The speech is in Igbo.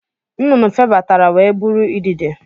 Nnụnụ febatara wee bụrụ idide